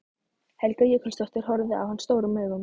Helga Jökulsdóttir horfði á hann stórum augum.